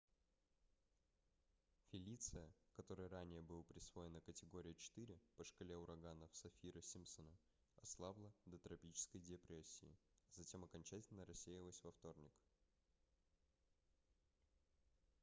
фелиция которой ранее был присвоена категория 4 по шкале ураганов саффира-симпсона ослабла до тропической депрессии а затем окончательно рассеялась во вторник